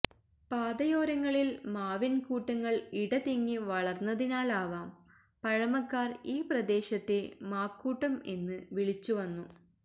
പാതയോരങ്ങളിൽ മാവിൻകൂട്ടങ്ങൾ ഇടതിങ്ങി വളർന്നതിനാലാവാം പഴമക്കാർ ഈ പ്രദേശത്തെ മാക്കൂട്ടംഎന്ന് വിളിച്ചു വന്നു